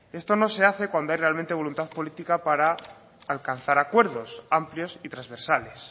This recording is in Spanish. esto no se hace cuando hay realmente voluntad política para alcanzar acuerdos amplios y transversales